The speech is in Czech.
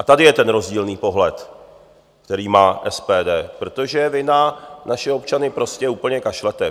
A tady je ten rozdílný pohled, který má SPD, protože vy na naše občany prostě úplně kašlete.